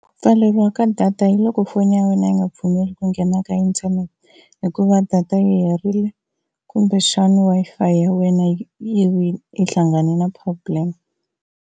Ku pfaleriwa ka data hi loko foni ya wena yi nga pfumeli ku nghena ka internet hikuva data yi herile kumbexana Wi-Fi ya wena yi vi yi hlangane na problem.